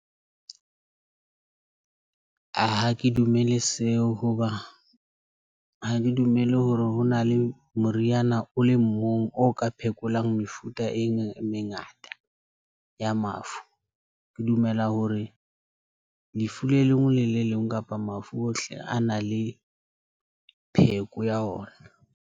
A ha ke dumele seo, hoba ha ke dumele hore hona le moriana o le mong o ka phekolang mefuta eng e mengata ya mafu. Ke dumela hore lefu le lengwe le le leng kapa mafu ohle a na le pheko ya ona.